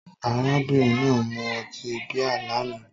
Arábìnrin náà mu ọtí bíà lánàá